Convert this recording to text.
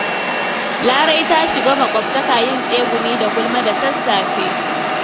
Larai ta shiga makwabtaka yin tsegumi da gulma da sassafe.